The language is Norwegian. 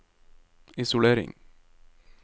isolering